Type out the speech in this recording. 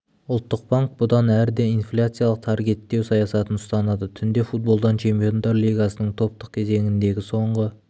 ұлттық банк бұдан әрі де инфляциялық таргеттеу саясатын ұстанады түнде футболдан чемпиондар лигасының топтық кезеңіндегі соңғы